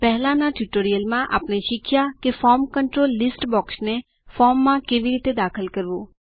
પહેલાંના ટ્યુટોરીયલમાં આપણે શીખ્યા કે ફોર્મ કન્ટ્રોલ લીસ્ટ બોક્સને ફોર્મમાં કેવી રીતે દાખલ કરવું